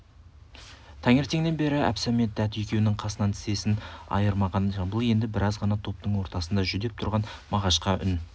таңертеңнен бері әбсәмет дәт екеуінің қасынан тізесін айырмаған жамбыл енді біраз ғана топтың ортасында жүдеп тұрған мағашқа үн